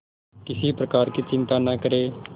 किसी प्रकार की चिंता न करें